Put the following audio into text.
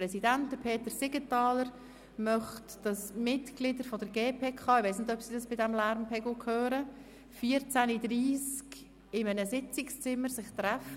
Der Präsident der GPK, Peter Siegenthaler, möchte die Mitglieder der GPK um 14.30 Uhr im Sitzungszimmer 7 treffen.